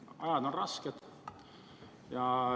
Ajad on rasked.